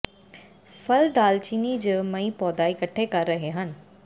ਫਲ ਦਾਲਚੀਨੀ ਜ ਮਈ ਪੌਦਾ ਇਕੱਠੇ ਕਰ ਰਹੇ ਹਨ